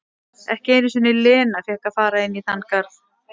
Ekki einu sinni Lena fékk að fara inn í þann garð.